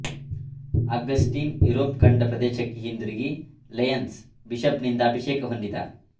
Augustine Europe ಖಂಡ ಪ್ರದೇಶಕ್ಕೆ ಹಿಂದಿರುಗಿ ಲ್ಯೆಯನ್ಸ್ನ ಬಿಷಪ್ನಿಂದ ಅಭಿಷೇಕ ಹೊಂದಿದ